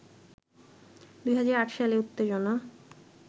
২০০৮ সালে এ উত্তেজনা